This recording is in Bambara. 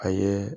A ye